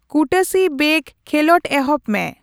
ᱠᱩᱴᱟᱹᱥᱤ ᱵᱮᱜ ᱠᱷᱮᱞᱚᱸᱰ ᱮᱦᱚᱵ ᱢᱮ